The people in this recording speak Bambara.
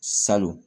Salon